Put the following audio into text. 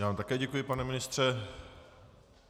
Já vám také děkuji, pane ministře.